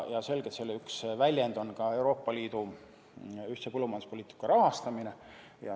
Selgelt selle üks väljendusi on ka Euroopa Liidu ühtse põllumajanduspoliitika rahastamine.